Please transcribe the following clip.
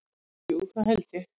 Jú, það held ég.